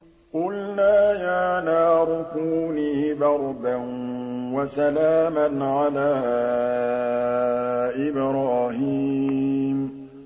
قُلْنَا يَا نَارُ كُونِي بَرْدًا وَسَلَامًا عَلَىٰ إِبْرَاهِيمَ